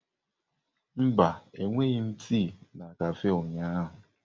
Mba, enweghị m tii na kafé ụnyaahụ.